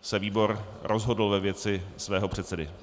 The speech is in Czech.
se výbor rozhodl ve věci svého předsedy.